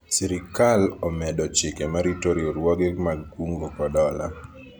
sirikal omedo chike marito riwruoge mag kungo kod hola